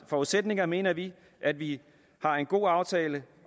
forudsætninger mener vi at vi har en god aftale